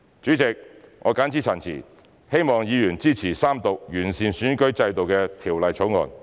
主席，我謹此陳辭，希望議員支持三讀完善選舉制度的《條例草案》。